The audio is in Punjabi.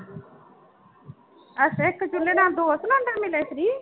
ਅੱਛਾ ਇੱਕ ਚੁੱਲੇ ਨਾਲ ਦੋ ਸਿਲੈਂਡਰ ਮਿਲੇ free